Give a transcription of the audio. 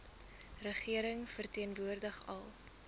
regering verteenwoordig al